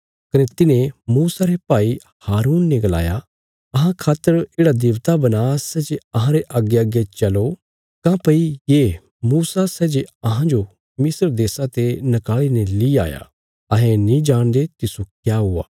कने तिन्हें मूसा रे भाई हारून ने गलाया अहां खातर येढ़ा देबता बना सै जे अहांरे अग्गेअग्गे चलो काँह्भई ये मूसा सै जे अहांजो मिस्र देशा ते नकाली ने ली आया अहें नीं जाणदे तिस्सो क्या हुआ